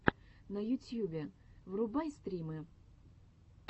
на ютьюбе врубай стримы